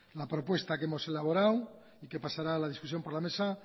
la propuesta que hemos elaborado y que pasará la discusión por la mesa